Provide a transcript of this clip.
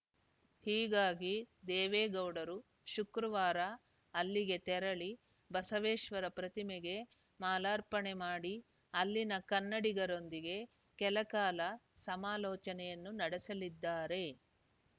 ಹೀಗಾಗಿ ದೇವೇಗೌಡರು ಶುಕ್ರವಾರ ಅಲ್ಲಿಗೆ ತೆರಳಿ ಬಸವೇಶ್ವರ ಪ್ರತಿಮೆಗೆ ಮಾಲಾರ್ಪಣೆ ಮಾಡಿ ಅಲ್ಲಿನ ಕನ್ನಡಿಗರೊಂದಿಗೆ ಕೆಲ ಕಾಲ ಸಮಾಲೋಚನೆಯನ್ನೂ ನಡೆಸಲಿದ್ದಾರೆ